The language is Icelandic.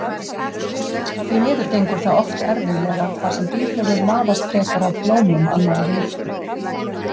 Því miður gengur það oft erfiðlega þar sem býflugur laðast frekar að blómum annarra jurta.